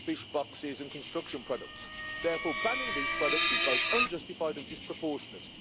fish boxes and construction products. Therefore, banning these products is both unjustified and disproportionate.